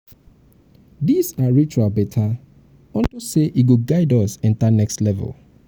dis our ritual better unto say e go guide us enter next level..